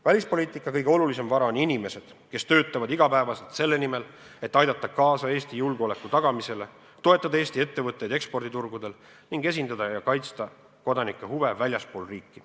Välispoliitika kõige olulisem vara on inimesed, kes töötavad iga päev selle nimel, et aidata kaasa Eesti julgeoleku tagamisele, toetada Eesti ettevõtteid eksporditurgudel ning esindada ja kaitsta kodanike huve väljaspool riiki.